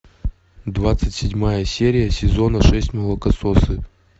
двадцать седьмая серия сезона шесть молокососы